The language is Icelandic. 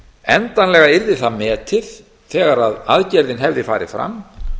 endanlega yrði það metið þegar aðgerðin hefði farið fram